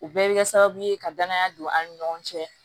U bɛɛ bɛ kɛ sababu ye ka danaya don an ni ɲɔgɔn cɛ